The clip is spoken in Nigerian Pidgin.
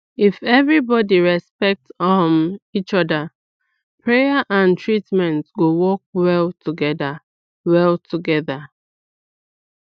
if everybody respect each um other prayer and treatment go work well together well together